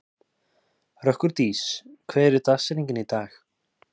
Rökkurdís, hver er dagsetningin í dag?